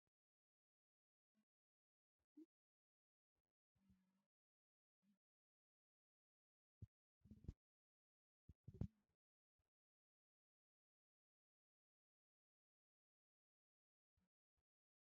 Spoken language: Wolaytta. Iyesus kiristtoosi ha sa'a nu nagaraa gishshaw yiidi hayqqidooga oddiya asati wodiyan wodiyan bantta misrachchuwa odiyo gishshaw tumay wordo milatidoy aybisse?